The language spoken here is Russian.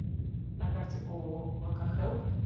на карте ооо локохелп